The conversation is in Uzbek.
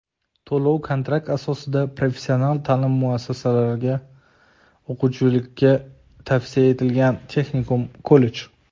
to‘lov-kontrakt asosida professional ta’lim muassasalariga o‘quvchilikka tavsiya etilganlar (texnikum, kollej);.